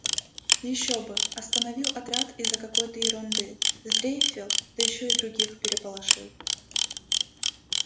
ещё бы остановил отряд из-за какой-то ерунды сдрейфил да ещё и других переполошил